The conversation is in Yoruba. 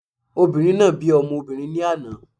Obìnrin náà bí ọmọ obìrin ní àná